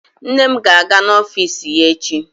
Nne m ga-aga n'ọfiisi ya echi.